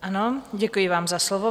Ano, děkuji vám za slovo.